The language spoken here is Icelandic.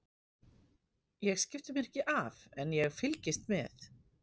Ég skipti mér ekki af en ég fylgist með.